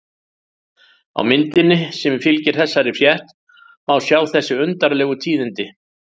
Á myndinni sem fylgir þessari frétt má sjá þessi undarlegu tíðindi.